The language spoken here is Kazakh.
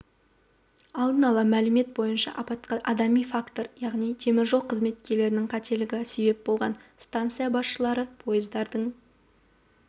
алдын ала мәлімет бойынша апатқа адами фактор яғни теміржол қызметкерлерінің қателігі себеп болған станция басшылары пойыздардың